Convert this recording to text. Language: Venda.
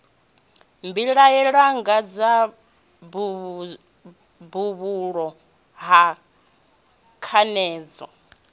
vhilahela ngadzo vhuhulu ha khanedzano